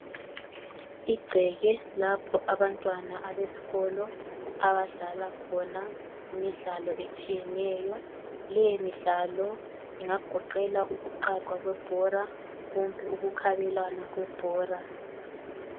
Igceke lapho abantwana abesikolo abadlala khona imidlalo etshiyeneyo. Leyi midlalo ingagoqela ukuqaga kwebhora kumbe ukukhabelwana kwebhora.